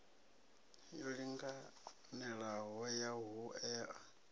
yo linganelaho ya ho ea